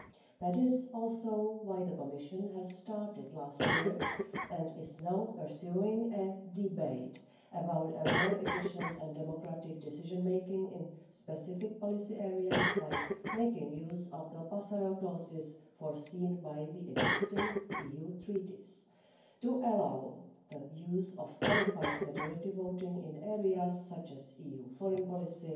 That is also why the Commission started, last year, and is now pursuing a debate about more efficient and democratic decision making in specific policy areas by making use of the passerelle clauses foreseen by the existing EU treaties to allow the use of qualified majority voting in areas such as EU foreign policy,